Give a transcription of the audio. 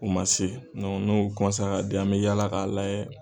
U ma se n'u ka den an bɛ yaala k'a lajɛ